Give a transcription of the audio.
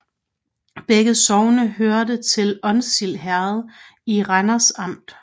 Begge sogne hørte til Onsild Herred i Randers Amt